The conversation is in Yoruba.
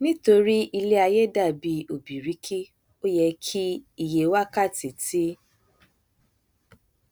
nítorí iléaiyé dàbí ọbìrìkì o yẹ kí iye wákàtí tí